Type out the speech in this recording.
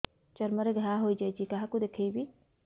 ଚର୍ମ ରେ ଘା ହୋଇଯାଇଛି କାହାକୁ ଦେଖେଇବି